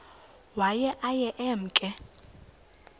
waye aye emke